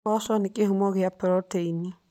Mboco nĩ kĩhumo kĩa proteini.